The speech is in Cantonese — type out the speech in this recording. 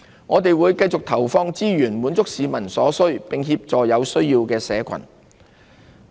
我們會繼續投放資源，滿足市民所需，並協助有需要的社群。